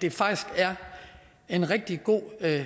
det faktisk er en rigtig god